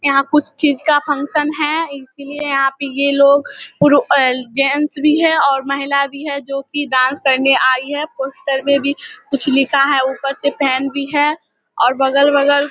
यहाँ कुछ चीज का फंक्शन है। इसलिए यहाँ पे ये लोग पुरु जेंट्स भी है और महिला भी है जो की डांस करने आई है। पोस्टर में भी कुछ लिखा है। ऊपर से फैन भी है और बगल-वगल --